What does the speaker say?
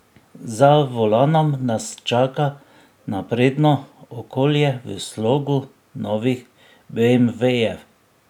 Za volanom nas čaka napredno okolje v slogu novih beemvejev.